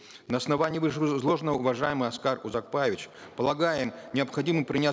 на основании вышеизложенного уважаемый аскар узакбаевич полагаем необходимо принять